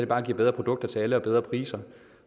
bare giver bedre produkter til alle og bedre priser